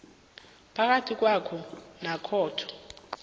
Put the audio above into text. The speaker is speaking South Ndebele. phakathi kwakho nekhotho